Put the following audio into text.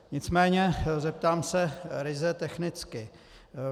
Nicméně zeptám se ryze technicky.